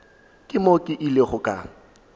ke mo ke ilego ka